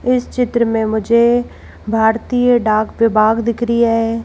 इस चित्र में मुझे भारतीय डाक पे बाघ दिख री है।